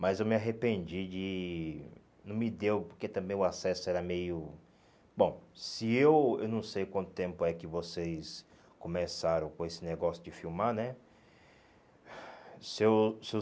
Mas eu me arrependi de... Não me deu, porque também o acesso era meio... Bom, se eu... Eu não sei quanto tempo é que vocês começaram com esse negócio de filmar, né?